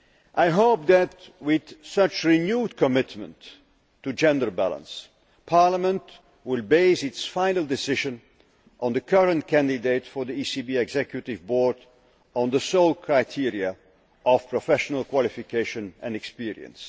I hope that, with such renewed commitment to gender balance, Parliament will base its final decision on the current candidate for the ECB executive board on the sole criteria of professional qualification and experience.